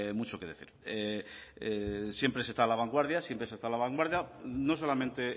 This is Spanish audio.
mucho que decir siempre se está a la vanguardia siempre se está a la vanguardia no solamente